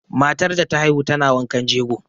Matar da ta haihu tana wankan jego.